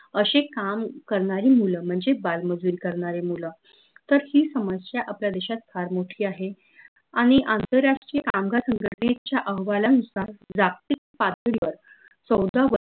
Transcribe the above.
अशे काम करनारी मुलं म्हनजे बाल मजुरी करनारे मुलं तर ही समस्या आपल्या देशात फार मोठी आहे आनि आंतरराष्ट्रीय कामगार संघटनेच्या अहवालानुसार जागतिक पातळीवर